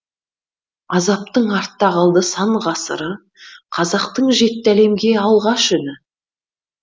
азаптың артта қалды сан ғасыры қазақтың жетті әлемге алғаш үні